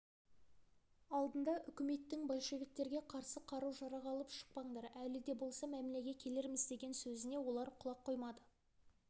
алдында үкіметтің большевиктерге қарсы қару-жарақ алып шықпаңдар әлі де болса мәмілеге келерміз деген сөзіне олар құлақ қоймады